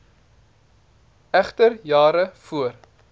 egter jare voor